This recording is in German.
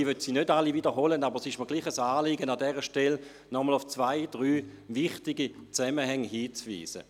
Ich möchte sie nicht alle wiederholen, aber es ist mir ein Anliegen, an dieser Stelle nochmals auf zwei oder drei wichtige Zusammenhänge hinzuweisen.